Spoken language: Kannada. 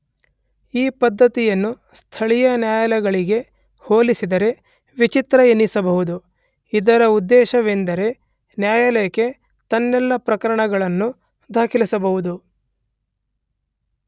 ಈ ಪದ್ದತಿಯನ್ನು ಸ್ಥಳೀಯ ನ್ಯಾಯಾಲಯಗಳಿಗೆ ಹೋಲಿಸಿದರೆ ವಿಚಿತ್ರ ಎನಿಸಬಹುದು.ಇದರ ಉದ್ದೇಶವೆಂದರೆ ನ್ಯಾಯಾಲಯಕ್ಕೆ ತನ್ನೆಲ್ಲ ಪ್ರಕರಣಗಳನ್ನು ದಾಖಲಿಸಬಹುದು.